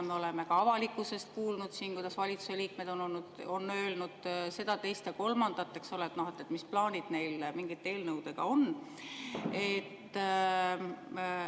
Me oleme ka avalikkuses kuulnud, kuidas valitsuse liikmed on öelnud seda, teist ja kolmandat, et mis plaanid neil mingite eelnõudega on.